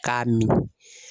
K'a min